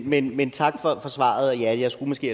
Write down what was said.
men men tak for svaret og ja jeg skulle måske